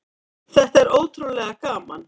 Þetta er ótrúlega gaman.